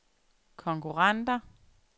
konkurrenter